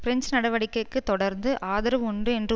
French நடவடிக்கைக்கு தொடர்ந்து ஆதரவு உண்டு என்று